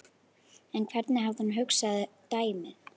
En hvernig hafði hún hugsað dæmið?